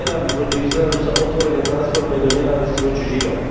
Nenávisť voči Izraelu sa otvorene transformuje do nenávisti voči Židom.